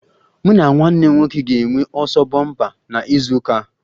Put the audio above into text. Mụ na nwanne m nwoke ga-enwe ọsọ bompa na izu ụka a